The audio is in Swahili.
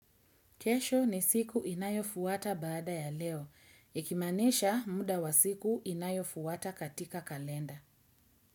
Kesho ni siku inayofuwata baada ya leo. Ikimaanesha muda wa siku inayofuata katika kalenda.